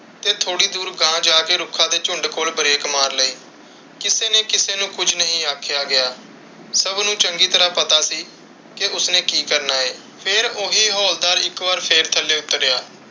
ਤੇ ਥੋੜੀ ਦੂਰ ਗਾਂਹ ਜਾ ਕ ਰੁੱਖਾਂ ਦੇ ਝੁੰਡ ਕੋਲ ਬ੍ਰੇਕ ਮਾਰ ਲਈ। ਕਿਸੇ ਨੇ ਕਿਸੇ ਨੂੰ ਕੁਛ ਨਹੀਂ ਆਖਿਆ ਗਿਆ। ਸਬ ਨੂੰ ਚੰਗੀ ਤਰਾਹ ਪਤਾ ਸੀ ਕਿ ਉਸਨੇ ਕਿ ਕਰਨਾ ਹੈ। ਫਿਰ ਓਹੀ ਹੌਲਦਾਰ ਇੱਕ ਵਾਰੀ ਫਿਰ ਥੱਲੇ ਉਤਰਿਆ।